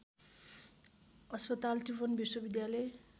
अस्पताल त्रिभुवन विश्वविद्यालय